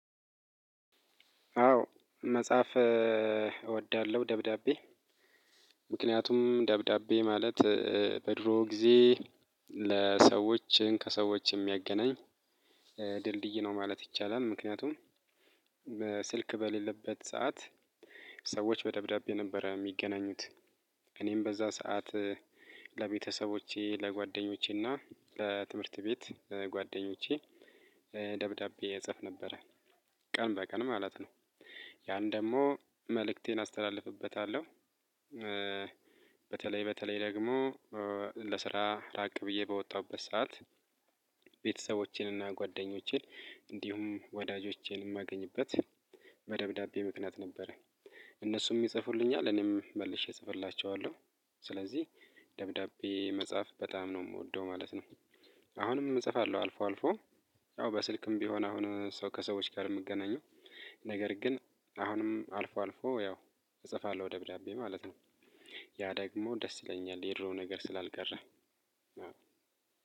አዎ መጽሐፍ እወዳለሁ ደብዳቤ ምክንያቱም ደብዳቤ ማለት በድሮ ጊዜ ለሰዎች ከሰዎች የሚያገናኝ ድልድይ ነው ማለት ይቻላል። ምክንያቱም በስልክ በሌለበት ሰዓት ሰዎች በደብዳቤ ነበረ የሚገናኙት። እኔም በዛ ሰዓት ለቤተሰቦቼ ለጓደኞቼና ለትምህርት ቤት ለጓደኞቼ ደብዳቤ እጽፍ ነበረ። ቀን በቀን ማለት ነው። ያን ደግሞ መልእክቴን አስተላልፍበታለሁ። በተለይ በተለይ ደግሞ ለስራ ራቅ ብዬ በወጣሁበት ሰዓት ቤተሰቦቼንና ጓደኞቼን እንዲሁም ወዳጆቼን የማገኝበት በደብዳቤ ምክንያት ነበረ። እነሱም ይጽፉልኛል እኔም መልሼ እጽፍላቸዋለሁ። ስለዚህ ደብዳቤ መጻፍ በጣም ነው የምወደው ማለት ነው። አሁንም እጽፋለሁ አልፎ አልፎ አዎ በስልክም ቢሆን አሁን ሰው ከሰዎች ጋር የምገናኘው። ነገር ግን አሁንም አልፎ አልፎ ያው እጽፋለሁ ደብዳቤ ማለት ነው። ያ ደግሞ ደስ ይለኛል የድሮው ነገር ስላልቀረ